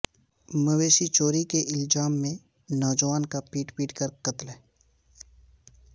مویشی چوری کے الزام میں نوجوان کا پیٹ پیٹ کر قتل